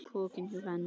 Pokinn hjá Hend